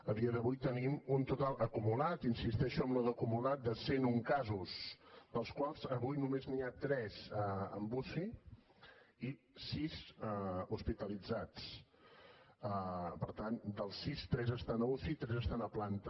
a dia d’avui tenim un total acumulat insisteixo en això d’ acumulat de cent un casos dels quals avui només n’hi ha tres en uci i sis hospitalitzats per tant dels sis tres estan a uci i tres estan a planta